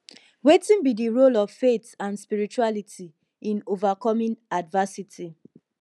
wetin be di role of faith and spirituality in overcoming adversity